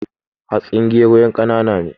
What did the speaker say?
Hatsin gero yan kanaana ne